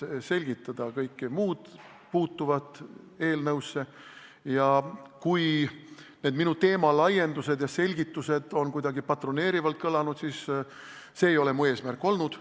Ma püüan selgitada kõike, mis puutub eelnõusse, ja kui need minu teemalaiendused ja selgitused on kuidagi patroneerivalt kõlanud, siis kinnitan, et see ei ole mu eesmärk olnud.